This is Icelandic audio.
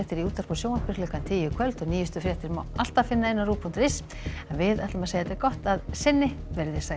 í útvarpi og sjónvarpi klukkan tíu í kvöld og nýjustu fréttir má alltaf finna á rúv punktur is en við segjum þetta gott að sinni veriði sæl